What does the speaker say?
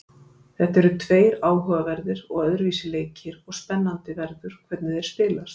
Þetta eru tveir áhugaverðir og öðruvísi leikir og spennandi verður að hvernig þeir spilast.